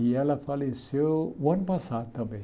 E ela faleceu o ano passado também.